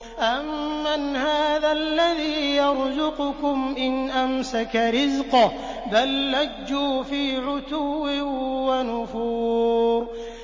أَمَّنْ هَٰذَا الَّذِي يَرْزُقُكُمْ إِنْ أَمْسَكَ رِزْقَهُ ۚ بَل لَّجُّوا فِي عُتُوٍّ وَنُفُورٍ